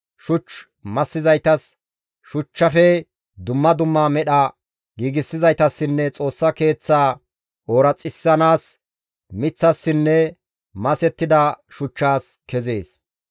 shuch massizaytas, shuchchafe dumma dumma medha giigsizaytassinne Xoossa Keeththaa ooraxissanaas miththassinne masettida shuchchas kezees.